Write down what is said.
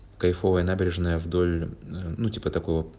кайфовая набережная вдоль ну типа такого